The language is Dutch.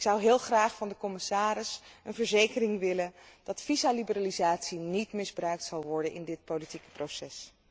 Ik zou heel graag van de commissaris een verzekering willen dat visumliberalisatie niet misbruikt zal worden in dit politieke proces.